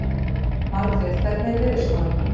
Margrét, hvernig er veðurspáin?